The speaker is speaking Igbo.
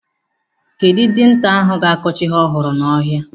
Kedụ dinta ahụ ga-akọcha ihe ọhụrụ n'ọhịa?